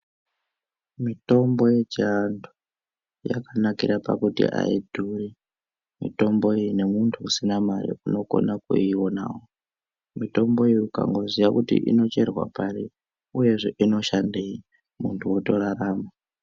Mitombo yechiAntu yakanakira pakuti ayidhuri mitombo iyi , nemuntu usina mare unokona kuionawo. Mitombo iyi ukangoziya kuti inocherwa pari , uyezve inoshandei , muntu otorarama.